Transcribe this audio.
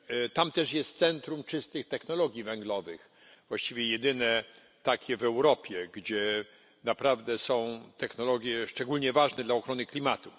Tam też jest Centrum Czystych Technologii Węglowych, właściwie jedyne takie w Europie, gdzie naprawdę są technologie szczególnie ważne dla ochrony klimatu.